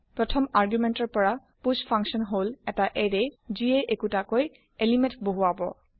first argument ৰ পৰা push function হল এটা এৰে যিয়ে একোটাকৈ এলিমেণ্ট বহুৰাব